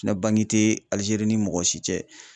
Na banke tɛ Alizeri ni mɔgɔ si cɛ.